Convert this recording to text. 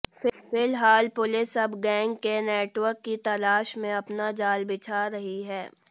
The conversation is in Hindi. फिलहाल पुलिस अब गैंग के नेटवर्क की तलाश में अपना जाल बिछा रही है